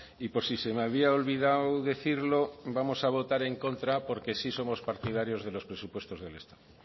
y por si se me había olvidado decirlo vamos a votar en contra porque sí somos partidarios de los presupuestos del estado